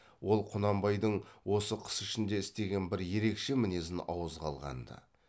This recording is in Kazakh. ол құнанбайдың осы қыс ішінде істеген бір ерекше мінезін ауызға алғанды